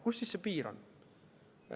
Kus siis see piir on?